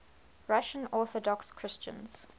russian orthodox christians